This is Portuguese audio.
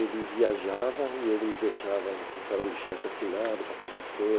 Ele viajava e ele me deixava um talão de cheque assinado para pagar as